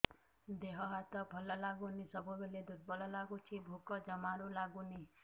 ଦେହ ହାତ ଭଲ ଲାଗୁନି ସବୁବେଳେ ଦୁର୍ବଳ ଲାଗୁଛି ଭୋକ ଜମାରୁ ଲାଗୁନି